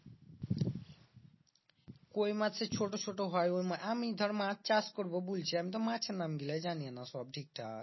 কই মাছের ছোট ছোট হয় আমি ধর মাছ চাষ করবো বুলছি আমি তো মাছের নামগুলা জানিনা সব ঠিকঠাক